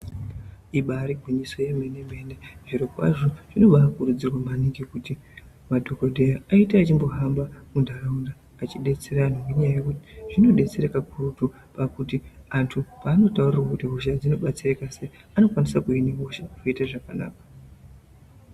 Ibari gwinyiso yemene mene zviro kwazvo zvinobakurudzirwa maningi kuti madhokodheya ayite achimbohamba mundaraunda achidetsera andu ngenyaya yekuti zvinodetsera kakurutu pakuti andu paanotaurirwa kuti hosha idzi dzinobetsereka seyi anokwanisa kuve nehosha yoite zvakanaka.